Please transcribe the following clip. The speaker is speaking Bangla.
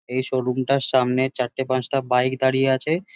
এই শোরুম -টার সামনে চারটে পাঁচটা বাইক দাঁড়িয়ে আছে।